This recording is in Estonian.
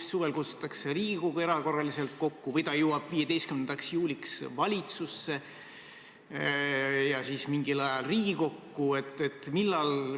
Kas suvel kutsutakse Riigikogu erakorraliselt kokku või eelnõu jõuab 15. juuliks valitsusse ja siis mingil ajal Riigikokku?